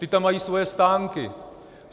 Ti tam mají svoje stánky.